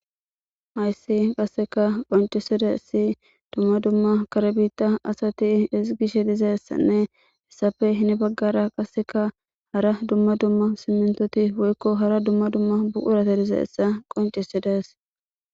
ayssi qasseka qoncisede si dumma dumma karbita asati isigishe dizeessanne hessafe hini baggara qasseka hara dumma dumma simmintoti woykko hara dumma dumma buurate dizeessa qoncisedes